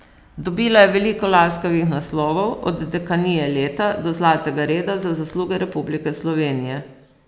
Dobila je veliko laskavih naslovov, od Dekanije leta, do Zlatega reda za zasluge Republike Slovenije.